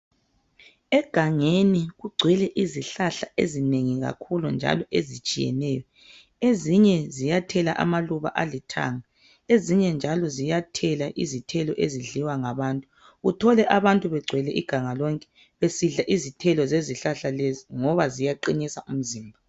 Egangeni kugcwele izihlahla ezinengi kakhulu, njalo ezitshiyeneyo. Ezinye ziyathela amaluba alithanga. Ezinye njalo, ziyathela izithelo, ezidliwa ngabantu. Uthole abantu begcwele iganga lonke. Besidla izithelo zezizihlahla lezi, ngoba ziyaqinisa umzimba.